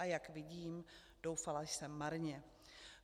A jak vidím, doufala jsem marně.